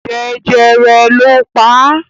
Jẹjẹrẹ ló pa á.